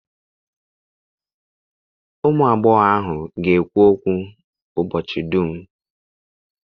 Ụmụ agbọghọ ga-ekwu okwu ụbọchị dum